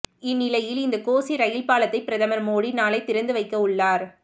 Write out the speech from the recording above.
இந்நிலையில் இந்த கோசி ரயில் பாலத்தை பிரதமர் மோடி நாளை திறந்து வைக்க உள்ளார்